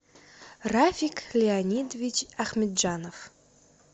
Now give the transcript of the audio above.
рафик леонидович ахмеджанов